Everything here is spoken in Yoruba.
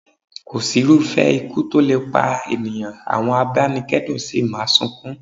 Kò sí irúfẹ́ ikú tó lè pa ènìyàn, àwọn abanikedun sì máa sunkún.